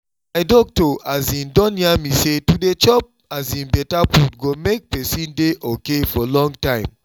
my doctor um don yarn me say to dey chop um better food go make person dey okay for long time